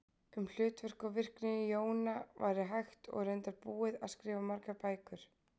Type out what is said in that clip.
Um hlutverk og virkni jóna væri hægt og er reyndar búið að skrifa margar bækur.